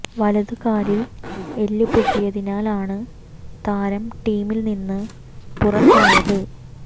വലതു കാലിൽ എല്ല് പൊട്ടിയതിനാൽ ആണ് തരാം ടീമിൽ നിന്ന് പുറത്തായത്